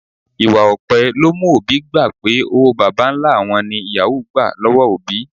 Ìwà òpè ló mú òbí gbà pé owó bàbá-ńlá wọn ní yàwúù gbà lọ́wọ́ òbí